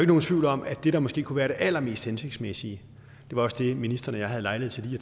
nogen tvivl om at det der måske kunne være det allermest hensigtsmæssige det var også det ministeren og jeg havde lejlighed til